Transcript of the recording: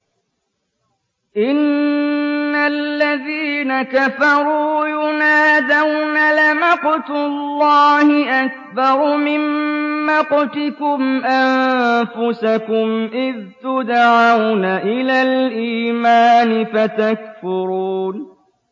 إِنَّ الَّذِينَ كَفَرُوا يُنَادَوْنَ لَمَقْتُ اللَّهِ أَكْبَرُ مِن مَّقْتِكُمْ أَنفُسَكُمْ إِذْ تُدْعَوْنَ إِلَى الْإِيمَانِ فَتَكْفُرُونَ